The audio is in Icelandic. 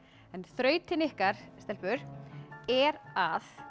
en þrautin ykkar er að